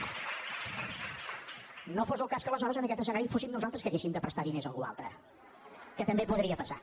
no fos el cas que aleshores en aquest escenari fóssim nosaltres que haguéssim de prestar diners a algú altre que també podria passar